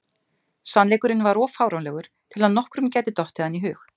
Sannleikurinn var of fáránlegur til að nokkrum gæti dottið hann í hug.